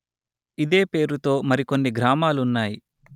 ఇదే పేరుతో మరి కొన్ని గ్రామాలున్నాయి